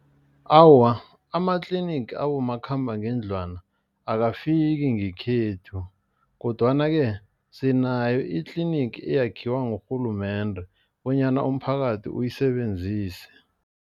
Awa, amatlinigi abomakhamba ngendlwana akafiki ngekhethu kodwana-ke sinayo itlinigi eyakhiwa ngurhulumende bonyana umphakathi uyisebenzise.